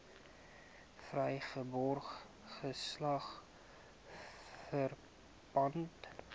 vrygebore geslag verpand